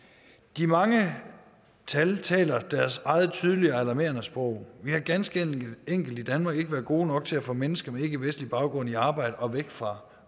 de mange tal taler deres eget tydelige og alarmerende sprog vi har ganske enkelt i danmark ikke været gode nok til at få mennesker med ikkevestlig baggrund i arbejde og væk fra